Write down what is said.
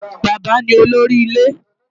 Bàbá ni olórí ilé.